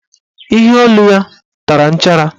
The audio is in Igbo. Iheolu ya tara nchara.